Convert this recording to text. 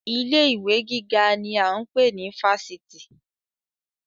Ilé ìwé gíga ni a ń pè ní Fáṣítì